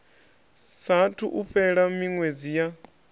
saathu u fhela miṅwedzi ya